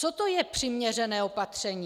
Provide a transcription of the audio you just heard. Co to je přiměřené opatření?